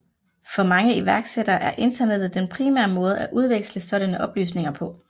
For mange iværksættere er internettet den primære måde at udveksle sådanne oplysninger på